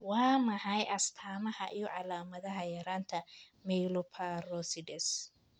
Waa maxay astamaha iyo calaamadaha yaraanta Myeloperoxidase?